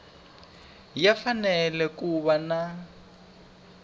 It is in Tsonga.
ya fanele ku va na